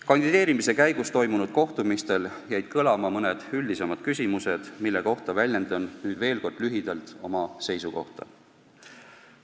Kandideerimise käigus toimunud kohtumistel jäid kõlama mõned üldisemad küsimused, mille kohta väljendan nüüd veel kord lühidalt oma seisukohta.